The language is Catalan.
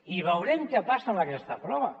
i veurem què passa amb aquesta prova